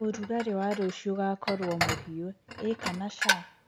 ũrũgarĩ wa rũcĩũ ugakorwo muhiu ii kana caa